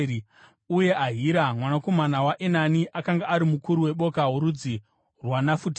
uye Ahira mwanakomana waEnani akanga ari mukuru weboka rorudzi rwaNafutari.